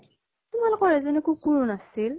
তোমালোকৰ এজনী কুকুৰো নাছিল ?